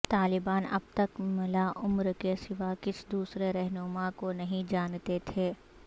طالبان اب تک ملا عمر کے سوا کسی دوسرے رہنما کو نہیں جانتے تھے